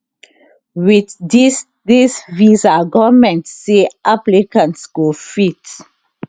wit dis dis visa goment say applicants go fit